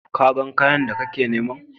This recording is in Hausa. Ka gan kayan da kana niman?